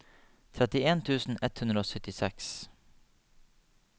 trettien tusen ett hundre og syttiseks